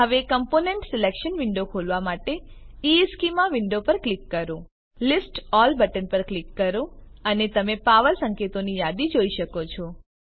હવે component selection window ખોલવા માટે ઇશ્ચેમાં વિન્ડો પર ક્લિક કરો લિસ્ટ અલ્લ બટન પર ક્લિક કરો અને તમે પાવર સંકેતોની યાદી જોઈ શકો છો